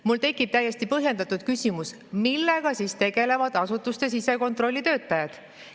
Mul tekib täiesti põhjendatud küsimus, millega siis tegelevad asutuste sisekontrolli töötajad.